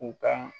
U ka